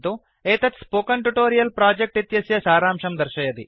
एतत् spoken tutorial project इत्यस्य सारांशं दर्शयति